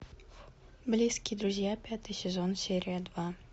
близкие друзья пятый сезон серия два